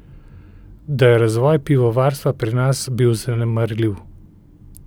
Da je razvoj pivovarstva pri nas bil zanemarljiv.